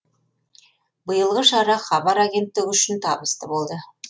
биылғы шара хабар агенттігі үшін табысты болды